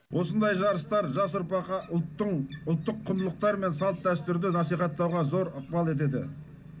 осындай жарыстар жас ұрпаққа ұлттық құндылықтар мен салт дәстүрді насихаттауға зор ықпал етеді